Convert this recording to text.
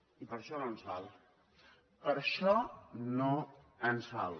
i per això no ens val per això no ens val